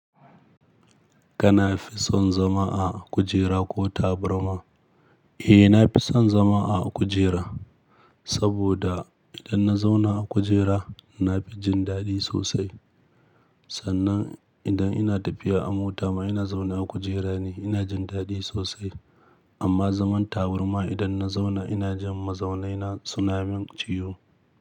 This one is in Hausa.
Ka nafi son zama a kujera ko taburma? Eh, na fi son zama a kujera, saboda idan na zauna a kujera na fi jin daɗi sosai. Sannan idan ina tafiya a mota ma ina zaunawa a kujera ne ina jin daɗi sosai. Amma zaman tabarma idan na zauna ina jin mazaunaina suna min ciwo.